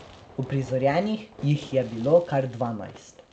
Uprizorjenih jih je bilo kar dvanajst.